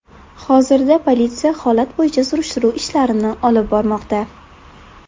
Hozirda politsiya holat bo‘yicha surishtiruv ishlarini olib bormoqda.